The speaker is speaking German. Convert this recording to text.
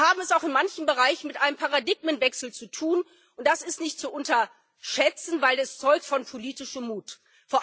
Wir haben es auch in manchen Bereichen mit einem Paradigmenwechsel zu tun, und das ist nicht zu unterschätzen, weil es von politischem Mut zeugt.